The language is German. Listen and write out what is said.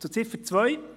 Zu Ziffer 2.